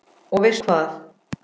Og veistu hvað?